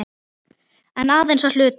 En aðeins að hluta.